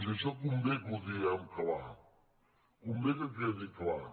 i això convé que ho diguem clar convé que quedi clar